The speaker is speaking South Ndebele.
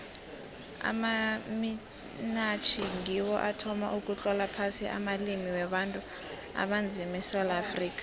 amamitjhnari ngiwo athoma ukutlola phasi amalimi wabantu abanzima esewula afrika